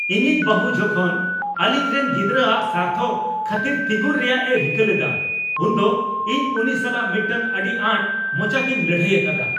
ᱤᱧᱤᱡ ᱵᱟᱹᱦᱩ ᱡᱚᱠᱷᱚᱱ ᱟᱹᱞᱤᱧ ᱨᱮᱱ ᱜᱤᱫᱽᱨᱟᱼᱟᱜ ᱥᱟᱨᱛᱷᱚ ᱠᱷᱟᱹᱛᱤᱨᱛᱤᱸᱜᱩᱱ ᱨᱮᱭᱟᱜᱼᱮ ᱨᱤᱠᱟᱹ ᱞᱮᱫᱟ ᱩᱱᱫᱚ ᱤᱧ ᱩᱱᱤ ᱥᱟᱞᱟᱜ ᱢᱤᱫᱴᱟᱝ ᱟᱹᱰᱤ ᱟᱸᱴ ᱢᱚᱪᱟᱛᱮᱧ ᱞᱟᱹᱲᱦᱟᱹᱭ ᱟᱠᱟᱫᱟ ᱾